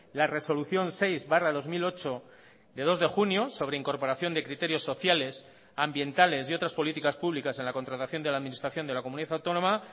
la resolución seis barra dos mil ocho de dos de junio sobre incorporación de criterios sociales ambientales y otras políticas públicas en la contratación de la administración de la comunidad autónoma